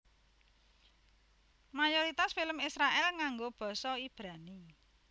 Mayoritas film Israèl nganggo basa Ibrani